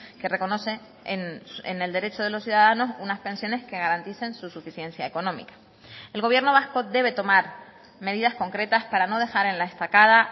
que reconoce en el derecho de los ciudadanos unas pensiones que garanticen su suficiencia económica el gobierno vasco debe tomar medidas concretas para no dejar en la estacada